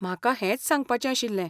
म्हाका हेंच सांगपाचें आशिल्लें.